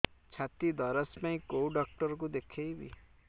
ଛାତି ଦରଜ ପାଇଁ କୋଉ ଡକ୍ଟର କୁ ଦେଖେଇବି